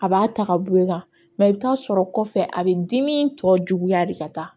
A b'a ta ka bɔ ye ka i bi t'a sɔrɔ kɔfɛ a be dimi tɔ juguya de ka taa